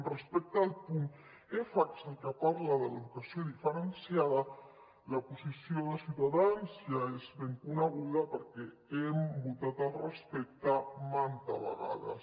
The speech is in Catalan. respecte al punt f que és el que parla de l’educació diferenciada la posició de ciutadans ja és ben coneguda perquè hem votat al respecte mantes vegades